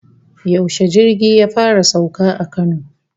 Yaushe jirgi ya fara sauka a Kano?